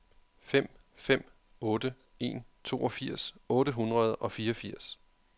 fem fem otte en toogfirs otte hundrede og fireogfirs